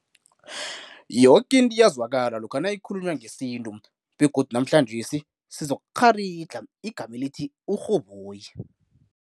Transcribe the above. Yoke into iyazwakala lokha nayikhulunywa ngesintu begodu namhlanjesi sizokukgharidlha igama elithi "uRhoboyi."